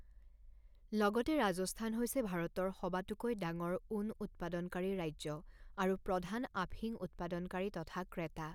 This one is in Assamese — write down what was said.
লগতে ৰাজস্থান হৈছে ভাৰতৰ সবাতোকৈ ডাঙৰ ঊণ উৎপাদনকাৰী ৰাজ্য আৰু প্ৰধান আফিং উৎপাদনকাৰী তথা ক্ৰেতা।